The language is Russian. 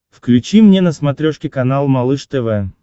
включи мне на смотрешке канал малыш тв